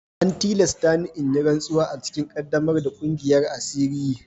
An tilasta ni in yi rantsuwa a cikin ƙaddamar da ƙungiyar asiri.